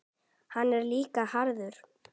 Hann er líka harður.